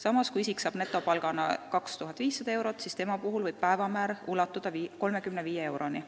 Samas, kui isik saab netopalgana kätte 2500 eurot, siis tema päevamäär võib ulatuda 35 euroni.